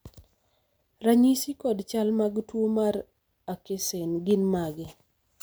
ranyisi kod chal mag tuo mar akessen gin mage?